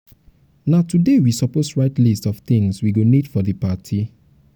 na today we suppose write list of things we go need for party.